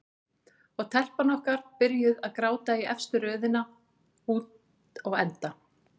Og telpan okkar byrjuð að gráta í efstu röðinni úti á enda.